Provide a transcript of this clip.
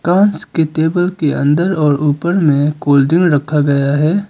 पास के टेबल के अंदर और ऊपर में कोल्ड ड्रिंक रखा गया है।